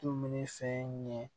Dumuni fɛn ɲɛ